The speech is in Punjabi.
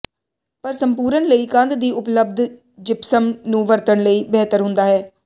ਪਰ ਸੰਪੂਰਣ ਲਈ ਕੰਧ ਦੀ ਉਪਲੱਬਧ ਜਿਪਸਮ ਨੂੰ ਵਰਤਣ ਲਈ ਬਿਹਤਰ ਹੁੰਦਾ ਹੈ